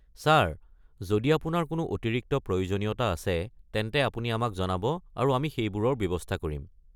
Sir, যদি আপোনাৰ কোনো অতিৰিক্ত প্ৰয়োজনীয়তা আছে, তেন্তে আপুনি আমাক জনাব আৰু আমি সেইবোৰৰ ব্যৱস্থা ধৰিম।